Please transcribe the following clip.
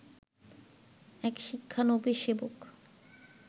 এক শিক্ষানবিশ সেবক